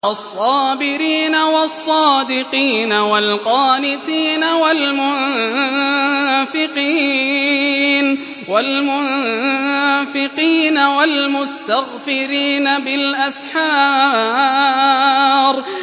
الصَّابِرِينَ وَالصَّادِقِينَ وَالْقَانِتِينَ وَالْمُنفِقِينَ وَالْمُسْتَغْفِرِينَ بِالْأَسْحَارِ